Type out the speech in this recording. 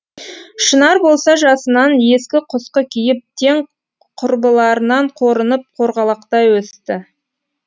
шынар болса жасынан ескі құсқы киіп тең құрбыларынан қорынып қорғалақтай өсті